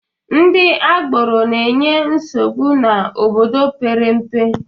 Ndị agboro na-enye nsogbu n'obodo mepere emepe